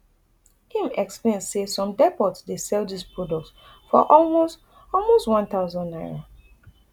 im explain say some depot dey sell dis product for almost almost one thousand naira